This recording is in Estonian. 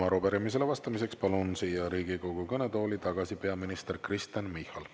Ja arupärimisele vastamiseks palun Riigikogu kõnetooli tagasi peaminister Kristen Michali.